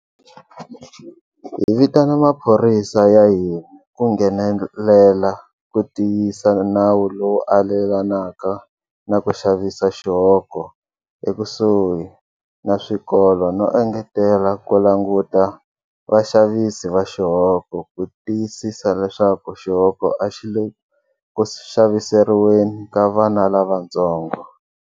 Hi vitana maphorisa ya hina ku nghenelela ku tiyisa nawu lowu alelanaka na ku xavisa xihoko ekusuhi na swikolo no engetela ku languta vaxavisi va xihoko ku tiyisisa leswaku xihoko a xi le ku xaviseriweni ka vana lavantsongo.